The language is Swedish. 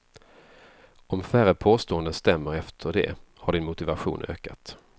Om färre påståenden stämmer efter det har din motivation ökat.